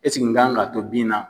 Esigi n kan ka to bin na?